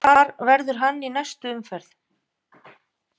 Hvar verður hann í næstu umferð?